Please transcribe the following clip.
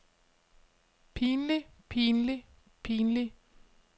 pinlig pinlig pinlig